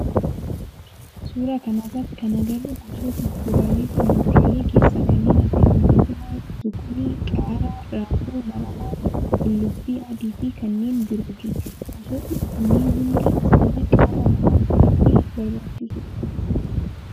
Suuraa kana irratti kan agarru gosoota kuduraalee fi muduraalee keessaa kanneen akka timaatima, zukunii, qaaraa, raafuu maramaa, qullubbii adii fi kanneen birooti. Gosootni kunneen hundi isaanii qaama namaaf baayyee barbaachisoodha.